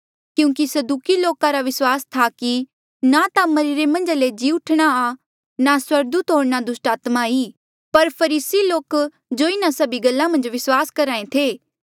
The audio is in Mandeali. क्यूंकि सदूकी लोके रा विस्वास था कि ना ता मरिरे मन्झ ले जी उठणा आ ना स्वर्गदूत होर ना दुस्टात्मा ई पर फरीसी लोका जो इन्हा सभी गल्ला मन्झ विस्वास करहा ऐें थे